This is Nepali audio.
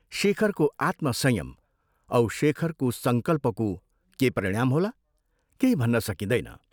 शेखरको आत्मसंयम औ शेखरको संकल्पको के परिणाम होला, केही भन्न सकिँदैन।